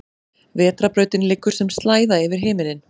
Vetrarbrautin liggur sem slæða yfir himinninn.